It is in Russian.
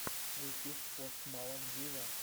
ютуб пост малон виво